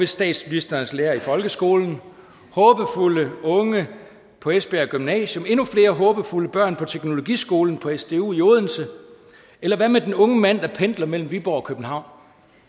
statsministerens lærer i folkeskolen håbefulde unge på esbjerg gymnasium og endnu flere håbefulde børn på teknologiskolen på sdu i odense eller hvad med den unge mand der pendler mellem viborg og københavn